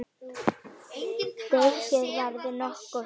Deigið verður nokkuð þunnt.